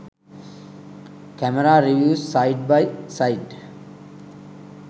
camera reviews side by side